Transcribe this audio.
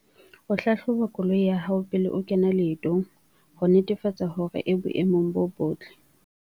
O hlahloba koloi ya hao pele o kena leetong, ho netefatsa hore e boemong bo botle.